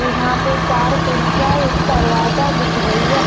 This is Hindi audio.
यहां पे चार खिड़कियां एक दरवाजा दिख रही है।